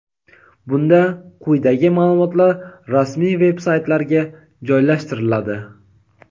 bunda quyidagi maʼlumotlar rasmiy veb-saytlarga joylashtiriladi:.